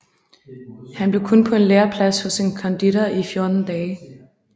Han blev kun på en læreplads hos en konditor i 14 dage